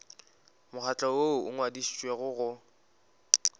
mokgatlo woo o ngwadišitšwego go